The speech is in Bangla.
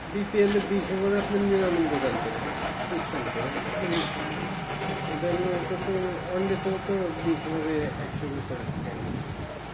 BPL দৃশ্য গুলো আপনি নিরা নব্বই run করে একশো তিরিশ run একশো চল্লিশ run করে এটার ইটা তো বিস্ বাদে একশোর উপর থাকে এখন